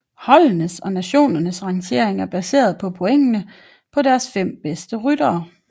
Holdenes og nationernes rangering er baseret på pointene på deres fem bedste ryttere